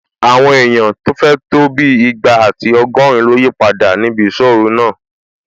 Àwọn èèyàn tó fẹ̀ tó bí ìgbà àti ọgọ́rin ló yípadà níbi ìsọ́-ọ̀ru náà